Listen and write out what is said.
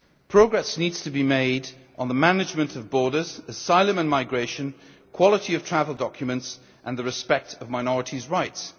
Progress needs to be made on the management of borders, asylum and migration, quality of travel documents and respect for minorities' rights.